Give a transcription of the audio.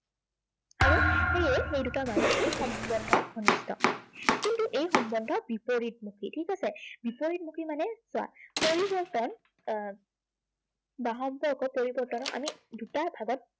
আৰু সেয়ে সেই দুটাৰ মাজত কি সম্বন্ধ ঘনিষ্ঠ। কিন্তু এই সম্বন্ধ বিপৰীতমুখী, ঠিক আছে? বিপৰীতমুখী মানে চোৱা, পৰিৱৰ্তন আহ বা সম্পৰ্ক পৰিৱৰ্তন আমি দুটা ভাগত